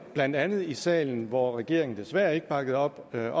blandt andet i salen hvor regeringen desværre ikke bakkede op det